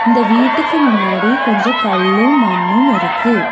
இந்த வீட்டுக்கு முன்னாடி கொஞ்சோ கள்ளு மண்ணுமிருக்கு.